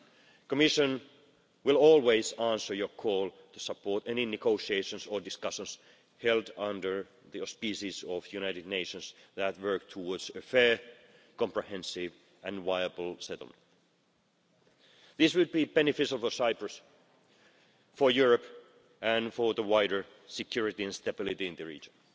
The Commission will always answer your call to support any negotiations or discussions held under the auspices of the United Nations that work towards a fair, comprehensive and viable settlement. This would be beneficial for Cyprus, for Europe and for the wider security and stability in the region.